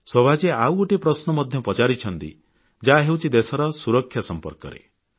ଶୋଭାଜୀ ଆଉ ଗୋଟିଏ ପ୍ରଶ୍ନ ମଧ୍ୟ ପଚାରିଛନ୍ତି ଯାହା ହେଉଛି ଦେଶର ସୁରକ୍ଷା ସମ୍ପର୍କରେ